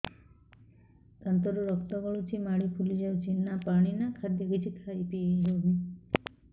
ଦାନ୍ତ ରୁ ରକ୍ତ ଗଳୁଛି ମାଢି ଫୁଲି ଯାଉଛି ନା ପାଣି ନା ଖାଦ୍ୟ କିଛି ଖାଇ ପିଇ ହେଉନି